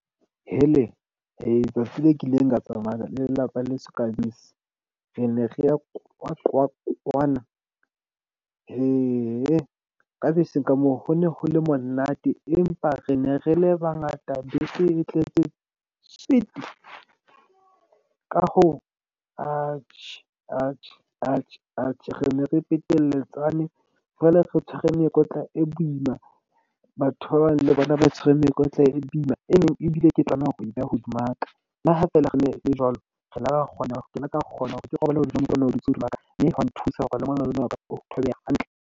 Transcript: Tsatsi leo kileng ka tsamaya le lelapa leso ka bese. Re ne re ya QwaQwa kwana. Ka beseng ka moo ho ne ho le monate, empa re ne re le bangata bese e tletse tswete. Ka hoo re ne re peteletsane. Jwale re tshwere mekotla e boima, batho ba bang le bona ba tshwere mekotla e boima. E neng ebile ke tlameha hore o beha hodima ka. Le ha feela re ne e le jwalo, re la .